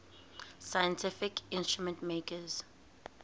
scientific instrument makers